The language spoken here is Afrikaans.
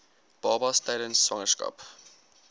babas tydens swangerskap